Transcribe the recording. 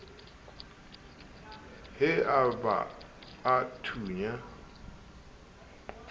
he a ba a thunya